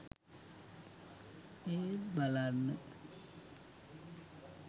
එත් බලන්න